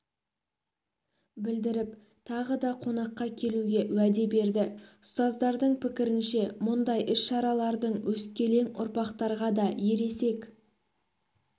білдіріп тағы да қонаққа келуге уәде берді ұстаздардың пікірінше мұндай іс-шаралардың өскелең ұрпақтарға да ересек